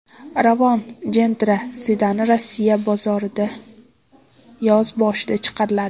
Ravon Gentra sedani Rossiya bozoriga yoz boshida chiqariladi.